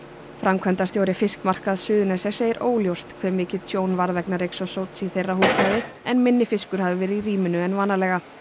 framkvæmdastjóri fiskmarkaðs Suðurnesja segir óljóst hve mikið tjón varð vegna reyks og sóts í þeirra húsnæði en minni fiskur hafi verið í rýminu en vanalega